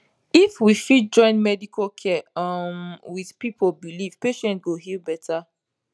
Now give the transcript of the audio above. if we fit join medical care um with people belief patient go heal better